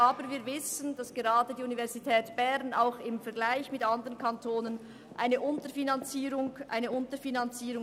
Aber wir wissen, dass gerade die Universität Bern im Vergleich zu anderen Kantonen unterfinanziert ist.